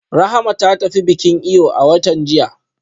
Rahama ta tafi bikin eyo a watan jiya